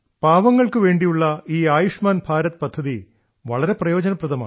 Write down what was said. പാവങ്ങൾക്കു വേണ്ടിയുള്ള ഈ ആയുഷ്മാൻ ഭാരത് പദ്ധതി വളരെ പ്രയോജനപ്രദമാണ്